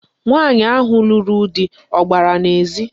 Nwaanyị ahụ lụrụ di ọ gbara n'ezi?